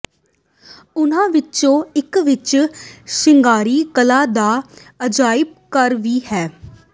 ਉਨ੍ਹਾਂ ਵਿਚੋਂ ਇਕ ਵਿਚ ਸ਼ਿੰਗਾਰੀ ਕਲਾ ਦਾ ਅਜਾਇਬ ਘਰ ਵੀ ਹੈ